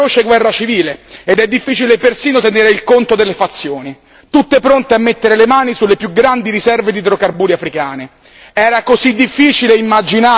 Oggi invece fatalità abbiamo una feroce guerra civile ed è difficile persino tenere il conto delle fazioni, tutte pronte a mettere le mani sulle più grandi riserve di idrocarburi africane.